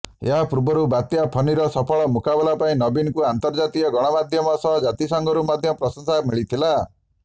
ଏହାପୂର୍ବରୁ ବାତ୍ୟା ଫନିର ସଫଳ ମୁକାବିଲା ପାଇଁ ନବୀନଙ୍କୁ ଅର୍ନ୍ତଜାତୀୟ ଗଣମାଧ୍ୟମ ସହ ଜାତିସଂଘରୁ ମଧ୍ୟ ପ୍ରଂଶସା ମିଳିଥିଲା